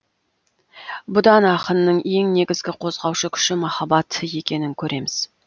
бұдан ақынның ең негізгі қозғаушы күші махаббат екенін көреміз